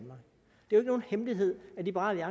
er nogen hemmelighed at liberal